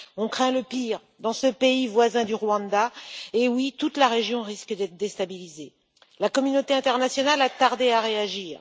On craint le pire dans ce pays voisin du Rwanda, car toute la région risque d'être déstabilisée. La communauté internationale a tardé à réagir.